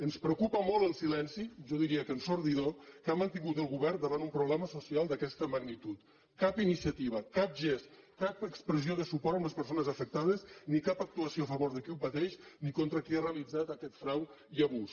ens preocupa molt el silenci jo diria que ensordidor que ha mantingut el govern davant un problema social d’aquesta magnitud cap iniciativa cap gest cap expressió de suport amb les persones afectades ni cap actuació a favor de qui ho pateix ni contra qui ha realitzat aquest frau i abús